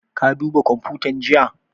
Ka duba kwamfutan jiya?